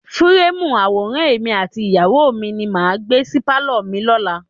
Fúúrèmù àwòrán èmi àti ìyàwó mi ni màá gbé sí pálọ̀ mi lọ́la.